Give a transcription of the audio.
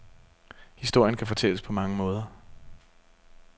Historien kan fortælles på mange måder.